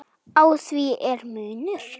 Á því er munur.